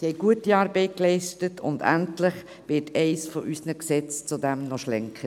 Sie haben gute Arbeit geleistet, und endlich wird eines unserer Gesetze zudem noch schlanker.